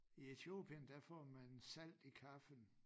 I Etiopien der får man salt i kaffen